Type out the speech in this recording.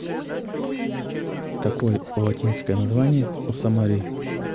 какой латинское название у самарий